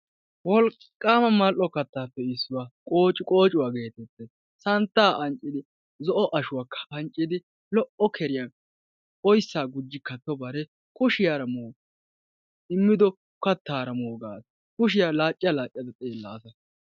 Wolqqaama mall"o kattaappe issuwa qoociqoocuwa geetettes. Santtaa anccidi zo"o ashuwakka anccidi lo"o keriyan oyssaa gujji kattobare kushiyara moo immido kattaara gaasa kushiyan laacca laacca xeellaasa.